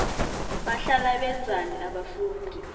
bahlala benzani abafundi